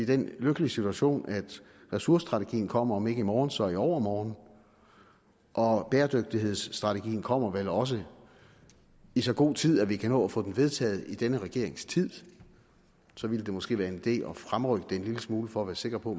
den lykkelige situation at ressourcestrategien kommer om ikke i morgen så i overmorgen og bæredygtighedsstrategien kommer vel også i så god tid at vi kan nå at få den vedtaget i denne regerings tid så ville det måske være en idé at fremrykke det en lille smule for at være sikker på